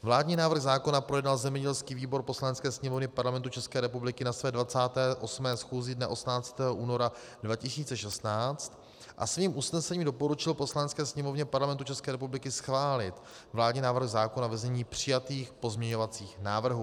Vládní návrh zákona projednal zemědělský výbor Poslanecké sněmovny Parlamentu České republiky na své 28. schůzi dne 18. února 2016 a svým usnesením doporučil Poslanecké sněmovně Parlamentu České republiky schválit vládní návrh zákona ve znění přijatých pozměňovacích návrhů.